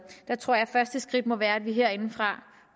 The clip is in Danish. jeg tror at første skridt må være at vi herindefra